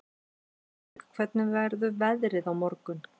Gunnbjörg, hvernig verður veðrið á morgun?